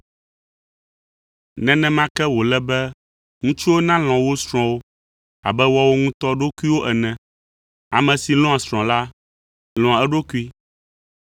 Nenema ke wòle be ŋutsuwo nalɔ̃ wo srɔ̃wo abe woawo ŋutɔ ɖokuiwo ene. Ame si lɔ̃a srɔ̃a la, lɔ̃a eɖokui.